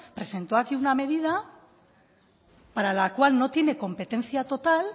presentó aquí una medida para la cual no tiene competencia total